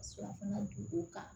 Ka surafana dun o kan